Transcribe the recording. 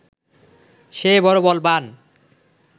সে বড় বলবান্